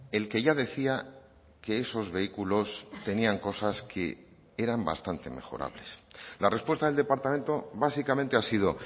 el que ya decía que esos vehículos tenían cosas que eran bastante mejorables la respuesta del departamento básicamente ha sido